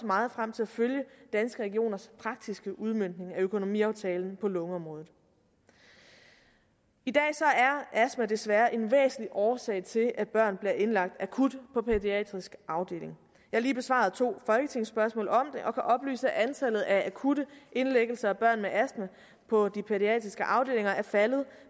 meget frem til at følge danske regioners praktiske udmøntning af økonomiaftalen på lungeområdet i dag er astma desværre en væsentlig årsag til at børn bliver indlagt akut på pædiatrisk afdeling jeg har lige besvaret to folketingsspørgsmål om det og kan oplyse at antallet af akutte indlæggelser af børn med astma på de pædiatriske afdelinger er faldet